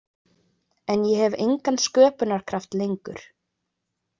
En ég hef engan sköpunarkraft lengur.